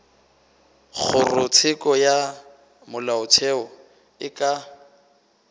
kgorotsheko ya molaotheo e ka